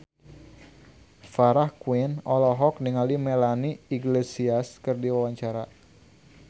Farah Quinn olohok ningali Melanie Iglesias keur diwawancara